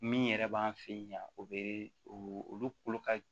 Min yɛrɛ b'an fɛ yan o bɛ olu ka